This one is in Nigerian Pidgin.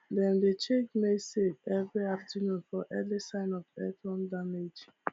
dem dey check maize silks every afternoon for early signs of earworm damage